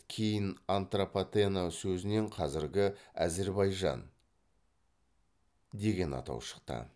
кейін антропатена сөзінен қазіргі әзірбайжан деген атау шықты